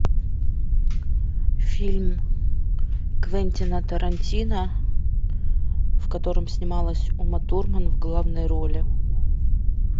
фильм квентина тарантино в котором снималась ума турман в главной роли